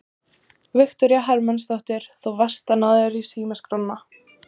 Viktoría Hermannsdóttir: Þú varst að ná þér í símaskránna?